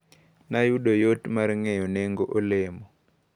Nayudo yot mar ng`eyo nengo olemo.